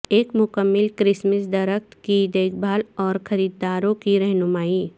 ایک مکمل کرسمس درخت کی دیکھ بھال اور خریداروں کی رہنمائی